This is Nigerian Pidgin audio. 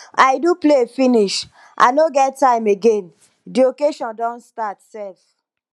i do play finish i no get time again the occasion don start sef